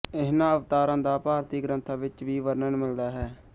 ਇਹਨਾਂ ਅਵਤਾਰਾਂ ਦਾ ਭਾਰਤੀ ਗ੍ਰੰਥਾਂ ਵਿੱਚ ਵੀ ਵਰਣਨ ਮਿਲਦਾ ਹੈ